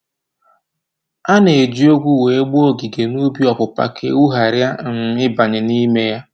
A na-eji ogwu wee gbaa ogige n'ubi ọpụpa ka ewu ghara ị um banye n'ime ya.